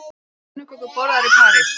Eru pönnukökur borðaðar í París